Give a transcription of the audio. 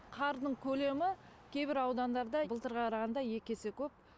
қардың көлемі кейбір аудандарда былтырға қарағанда екі есе көп